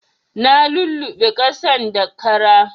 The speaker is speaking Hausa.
Na luluɓe ƙasan da kara